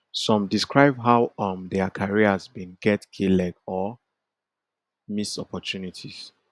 some describe how um dia careers bin get k leg or miss opportunities